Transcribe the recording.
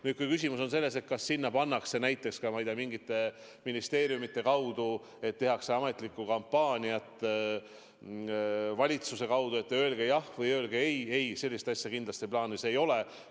Nüüd, kui küsimus on selle kohta, kas sinna pannakse näiteks ka, ma ei tea, mingite ministeeriumide kaudu rahva raha, et tehakse ametlikku kampaaniat valitsuse kaudu, et öelge "jah" või öelge "ei" – ei, sellist asja kindlasti plaanis ei ole.